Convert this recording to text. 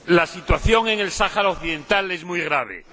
Señor Presidente, la situación en el Sáhara Occidental es muy grave.